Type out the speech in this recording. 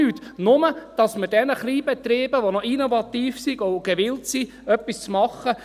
Wir müssen sämtliche Lebensmittel- und Hygienevorschriften einhalten.